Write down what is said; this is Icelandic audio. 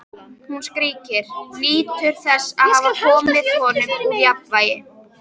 Hún skríkir, nýtur þess að hafa komið honum úr jafnvægi.